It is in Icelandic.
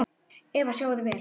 Eva: Sjáið þið vel?